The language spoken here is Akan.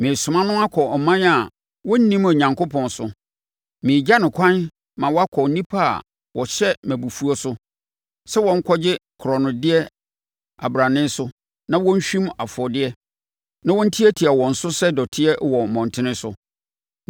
Meresoma no akɔ ɔman a wɔnnim Onyankopɔn so. Meregya no kwan ma wakɔ nnipa a wɔhyɛ me abufuo so sɛ wɔnkɔgye korɔnodeɛ abrane so na wɔnhwim afɔdeɛ, na wɔntiatia wɔn so sɛ dɔteɛ wɔ mmɔntene so.